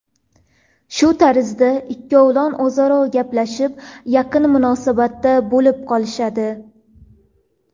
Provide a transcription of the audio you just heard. Shu tarzda ikkovlon o‘zaro gaplashib, yaqin munosabatda bo‘lib qolishadi.